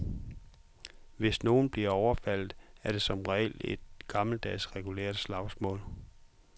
Hvis nogen bliver overfaldet, er det som regel i et gammeldags regulært slagsmål.